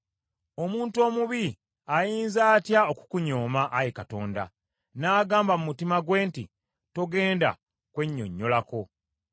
Omuntu omubi ayinza atya okukunyooma, Ayi Katonda, n’agamba mu mutima gwe nti “Sigenda kwennyonnyolako?”